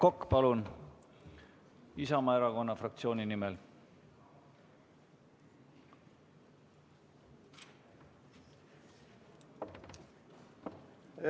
Aivar Kokk Isamaa erakonna fraktsiooni nimel, palun!